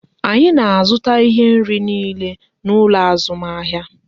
Anyị na azụta ihe nri niile n'ụlọ azụmahịa